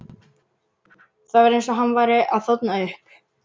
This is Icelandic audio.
Það var eins og hann væri að þorna upp.